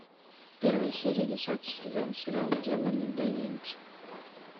первая серия десятый сезон сериал демоны да винчи